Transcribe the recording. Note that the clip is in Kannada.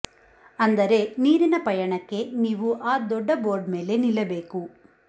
ಅಂದರೆ ನೀರಿನ ಪಯಣಕ್ಕೆ ನೀವು ಆ ದೊಡ್ಡ ಬೋರ್ಡ್ ಮೇಲೆ ನಿಲ್ಲಬೇಕು